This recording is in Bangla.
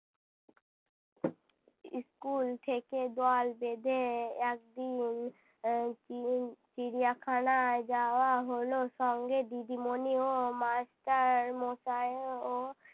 school থেকে দল বেঁধে একদিন এর চি~ চিড়িয়াখানায় যাওয়া হলো সঙ্গে দিদিমনি ও master মশাইও